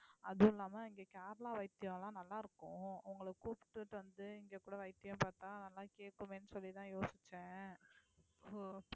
அதுவும் இல்லாம இங்க கேரளா வைத்தியம் எல்லாம் நல்லா இருக்கும் உங்களை கூப்பிட்டுட்டு வந்து இங்க கூட வைத்தியம் பார்த்தா நல்லா கேட்குமேன்னு சொல்லிதான் யோசிச்சேன் so